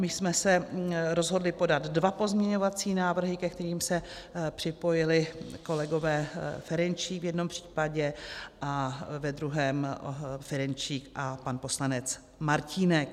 My jsme se rozhodli podat dva pozměňovací návrhy, ke kterým se připojili kolegové Ferjenčík v jednom případě a ve druhém Ferjenčík a pan poslanec Martínek.